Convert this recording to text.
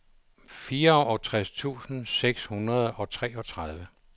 fireogtres tusind seks hundrede og treogtredive